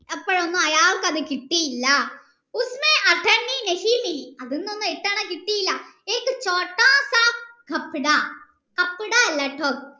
അത് കിട്ടിയില്ല അതോന്നും എട്ടണ കിട്ടിയില്ല അല്ലട്ടോ